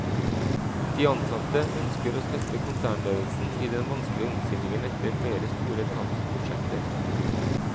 De ansatte ønsker å støtte konsernledelsen i den vanskelige omstillingen etter flere store tapsprosjekter.